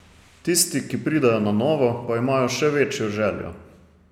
Tisti, ki pridejo na novo, pa imajo še večjo željo.